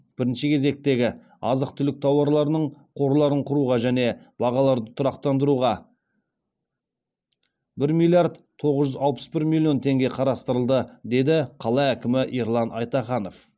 бірінші кезектегі азық түлік тауарларының қорларын құруға және бағаларды тұрақтандыруға бір миллиард тоғыз жүз алпыс бір миллион теңге қарастырылды деді қала әкімі ерлан айтаханов